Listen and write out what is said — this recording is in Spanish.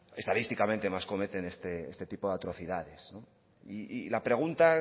estadísticamente más cometen este tipo de atrocidades y la pregunta